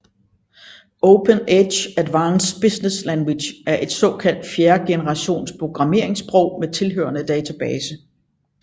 OpenEdge Advanced Business Language er et såkaldt fjerdegenerations programmeringssprog med tilhørende database